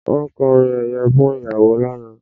Wọ́n kọrin ẹ̀yẹ fún ìyàwó lánàá